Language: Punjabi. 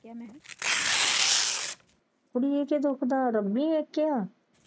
ਹੈ ਕਿਆ।